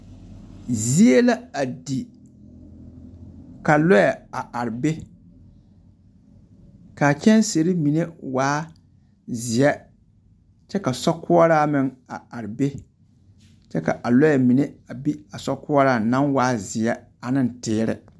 Zie la a di, ka lɔɛ a ar be. K'a kyɛnsere mine waa zeɛ kyɛ ka sokoɔraa meŋ a ar be, kyɛ ka a lɔɛ mine a bi a sokoɔraaŋ naŋ waa zeɛ aneŋ teere.